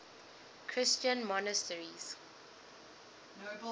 christian monasteries